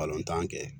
Palɔntan kɛ